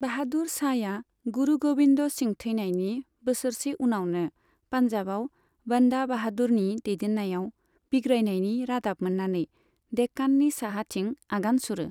बाहादुर शाहया गुरु गोविंद सिंह थैनायनि बोसोरसे उनावनो पान्जाबआव बंदा बाहादुरनि दैदेननायाव बिग्रायनायनि रादाब मोननानै देक्काननि साहाथिं आगान सुरो।